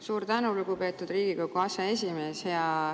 Suur tänu, lugupeetud Riigikogu aseesimees!